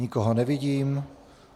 Nikoho nevidím.